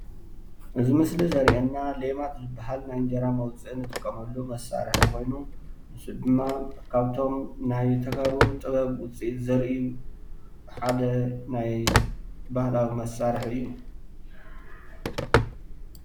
እዚ ምስሊ ዘርእየና ሌማት ዝባሃል ናይ እንጀራ መውፅኢ እንጥቀመሉ መሳርሒ ኮይኑ ንሱ ድማ ካብቶም ናይ ተጋሩ ጥበብ ውፅኢት ዘርኢ እዩ፡፡ ሓደ ናይ ባህላዊ መሳርሒ እዩ፡፡